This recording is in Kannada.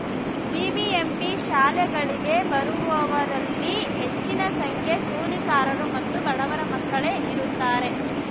ಬಿಬಿಎಂಪಿ ಶಾಲೆಗಳಿಗೆ ಬರುವವರಲ್ಲಿ ಹೆಚ್ಚಿನ ಸಂಖ್ಯೆ ಕೂಲಿಕಾರರು ಮತ್ತು ಬಡವರ ಮಕ್ಕಳೇ ಇರುತ್ತಾರೆ